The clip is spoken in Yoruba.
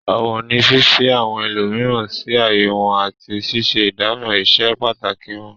Ọ̀wọ̀ ni fífi àwọn ẹlòmíràn sí ààyè wọn àti ṣíṣe ìdámọ̀ ìse pàtàkì wọn.